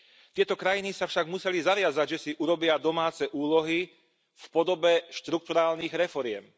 Tieto krajiny sa však museli zaviazať, že si urobia domáce úlohy v podobe štrukturálnych reforiem.